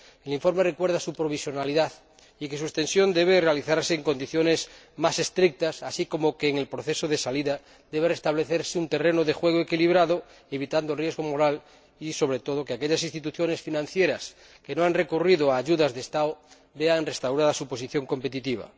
El informe recuerda su provisionalidad y que su extensión debe realizarse en condiciones más estrictas, así como que, en el proceso de salida, debe restablecerse un terreno de juego equilibrado, evitando el riesgo moral y, sobre todo, que aquellas instituciones financieras que no han recurrido a ayudas de Estado vean restaurada su posición competitiva.